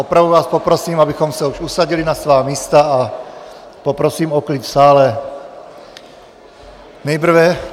Opravdu vás poprosím, abychom se už usadili na svá místa, a poprosím o klid v sále.